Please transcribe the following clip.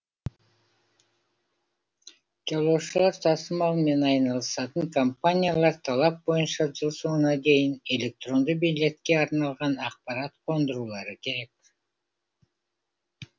жолаушылар тасымалымен айналысатын компаниялар талап бойынша жыл соңына дейін электронды билетке арналған ақпарат қондырулары керек